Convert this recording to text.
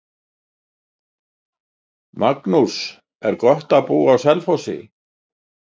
Magnús: Er gott að búa á Selfossi?